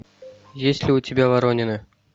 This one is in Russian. есть ли у тебя воронины